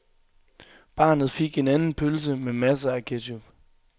Barnet fik en anden pølse med masser af ketchup.